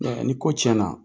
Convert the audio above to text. ni ko tiɲɛna